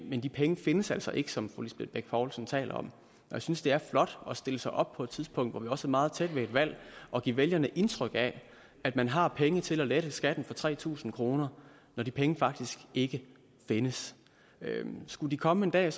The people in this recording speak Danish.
men de penge findes altså ikke som fru lisbeth bech poulsen taler om og jeg synes det er flot at stille sig op på et tidspunkt hvor vi også er meget tæt ved et valg og give vælgerne indtryk af at man har penge til at lave lette skatten for tre tusind kr når de penge faktisk ikke findes skulle de komme en dag